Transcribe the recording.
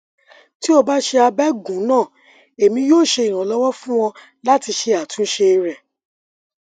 ti o ba ṣe abẹgun naa emi yoo ṣe iranlọwọ fun ọ lati ṣe atunṣe rẹ